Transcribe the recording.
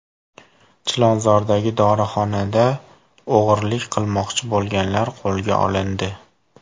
Chilonzordagi dorixonada o‘g‘rilik qilmoqchi bo‘lganlar qo‘lga olindi.